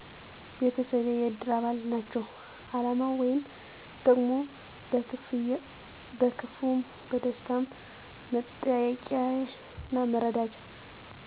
ቤተሰቤ የእድር አባል ናቸዉ አላማዉ ወይም ጥቅሙ በክፍዉም በደስታዉም መጠያየቂያና መረዳጃ